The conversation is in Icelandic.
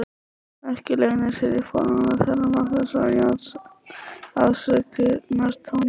Ekki leynir sér í formála þeirra Magnúsar og Jóns afsökunartónninn.